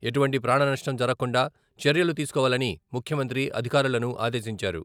ఎటువంటి ప్రాణనష్టం జరగకుండా చర్యలు తీసుకోవాలని ముఖ్యమంత్రి అధికారులను ఆదేశించారు.